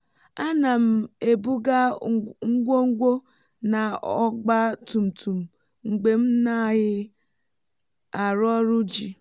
a na m ebuga ngwogwo na ọgba tùmtùm mgbe m naghị arụ ọrụ ji